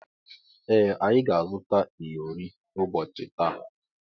Ee anyị ga-azuta iyori ụbọchị taa.